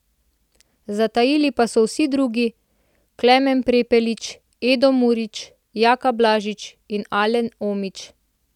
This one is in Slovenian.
Zatajili pa so vsi drugi, Klemen Prepelič, Edo Murić, Jaka Blažić, Alen Omić.